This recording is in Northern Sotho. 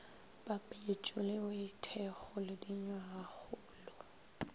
papetšo le boithekgo le dinywagakgolo